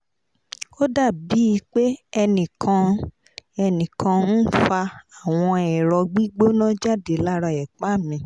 ó dà bíi pé ẹnì kan ń ẹnì kan ń fa àwọn ẹ̀rọ gbígbóná jáde lára ẹ̀pá mi